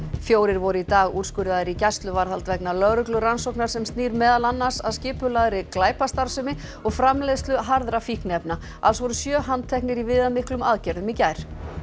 fjórir voru í dag úrskurðaðir í gæsluvarðhald vegna lögreglurannsóknar sem snýr meðal annars að skipulagðri glæpastarfsemi og framleiðslu harðra fíkniefna alls voru sjö handteknir í viðamiklum aðgerðum í gær